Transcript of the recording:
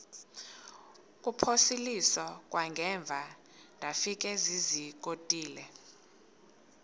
kuphosiliso kwangaemva ndafikezizikotile